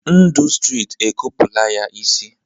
Ndụ stritị e kopula ya ịsị